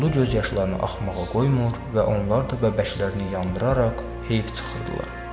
Duzlu göz yaşlarını axmağa qoymur və onlar da vəbəşlərini yandıraraq heyf çıxırdılar.